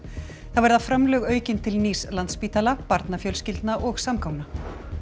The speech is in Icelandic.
þá verða framlög aukin til nýs Landspítala barnafjölskyldna og samgangna